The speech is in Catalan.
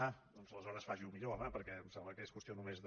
ah doncs aleshores faci ho millor home perquè em sembla que és qüestió només de